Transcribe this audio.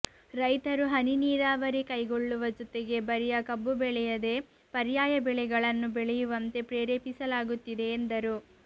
ರೈತರು ಹನಿ ನೀರಾವರಿ ಕೈಗೊಳ್ಳುವ ಜೊತೆಗೆ ಬರಿಯ ಕಬ್ಬು ಬೆಳೆಯದೇ ಪರ್ಯಾಯ ಬೆಳೆಗಳನ್ನು ಬೆಳೆಯುವಂತೆ ಪ್ರೇರೇಪಿಸಲಾಗುತ್ತಿದೆ ಎಂದರು